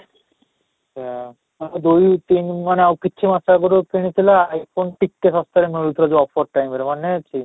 ଯୋଉ ତିନ ମାନେ ଆଉ କିଛି ମାସ ଆଗରୁ କିଣିଥିଲେ I phone ଟିକେ ଶସ୍ତାରେ ମିଳୁଥିଲା, ଯୋଉ offer time ରେ ମାନେ ଅଛି?